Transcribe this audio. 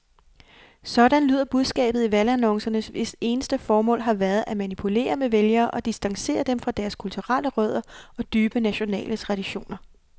Sådan lyder budskabet i valgannoncerne, hvis eneste formål har været at manipulere med vælgere og distancere dem fra deres kulturelle rødder og dybe nationale traditioner.